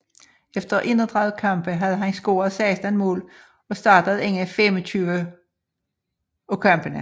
Efter 31 kampe havde han scoret 16 mål og startet inde 25 af kampene